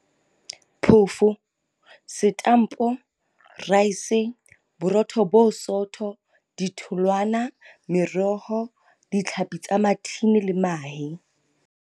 phofo, setampo, raese, boro tho bo bosotho, ditholwana, meroho, ditlhapi tsa mathini le mahe.